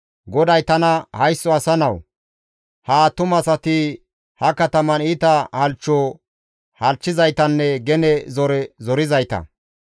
GODAY tana, «Haysso asa nawu! Ha attumasati ha kataman iita halchcho halchchizaytanne gene zore zorizayta.